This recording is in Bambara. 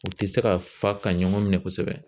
U tɛ se ka fa ka ɲɔgɔn minɛ kosɛbɛ.